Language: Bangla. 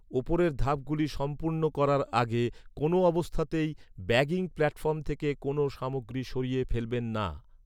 উপরের ধাপগুলি সম্পূর্ণ করার আগে, কোনো অবস্থাতেই ব্যাগিং প্ল্যাটফর্ম থেকে কোনো সামগ্রী সরিয়ে ফেলবেন না।